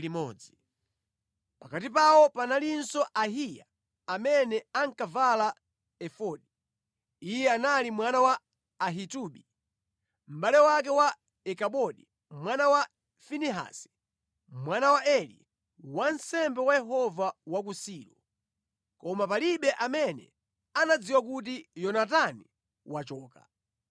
Pakati pawo panalinso Ahiya amene ankavala efodi. Iye anali mwana wa Ahitubi, mʼbale wake wa Ikabodi mwana wa Finehasi, mwana wa Eli, wansembe wa Yehova wa ku Silo. Koma palibe amene anadziwa kuti Yonatani wachoka.